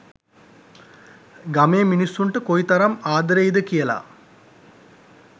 ගමේ මිනිස්සුන්ට කොයිතරම් ආදරෙයි ද කියලා